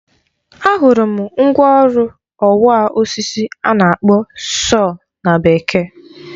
Ahụrụ m mgwa ọrụ ọwa osisi a na-akpọ sọọ na Bekee.